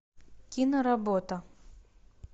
киноработа